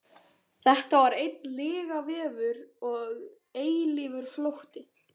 Þetta var einn lygavefur og eilífur flótti.